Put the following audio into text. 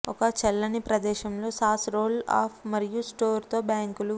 ఒక చల్లని ప్రదేశంలో సాస్ రోల్ అప్ మరియు స్టోర్ తో బ్యాంకులు